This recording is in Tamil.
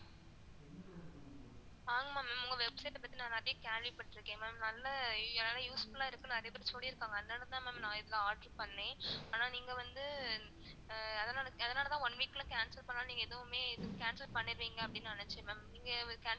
ஆஹ் ma'am உங்க website பத்தி நான் நெறைய கேள்வி பட்டுருக்கன் ma'am, நல்ல useful ஆ இருக்குனு நெறைய பேரு சொல்லிருக்காங்க அதனால தான் ma'am நான் இதுல order பண்ணன். அனா நீங்க வந்து அதனால அதனால தான் one week ல cancel பண்ணாலும் நீங்க எதுவுமே cancel பண்ணிர்றீங்க அப்டின்னு நான் நெனச்சன் ma'am நீங்க cancel